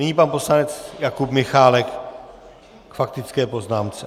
Nyní pan poslanec Jakub Michálek k faktické poznámce.